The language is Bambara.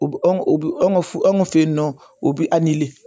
U bɛ anw u bi anw fe anw fe yen nɔ u bi